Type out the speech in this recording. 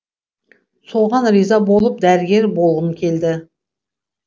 соған риза болып дәрігер болғым келді